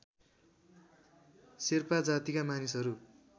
शेर्पा जातिका मानिसहरू